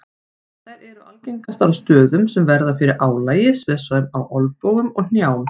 Þær eru algengastar á stöðum sem verða fyrir álagi svo sem á olnbogum og hnjám.